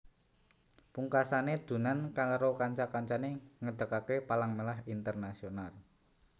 Pungkasane Dunant karo kanca kancane ngedekake Palang Merah Internasional